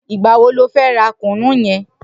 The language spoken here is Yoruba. Nigbà wó ló fè rà kúnú yèn?